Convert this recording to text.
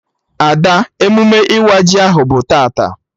Ada, emume ịwa ji ahụ bụ tata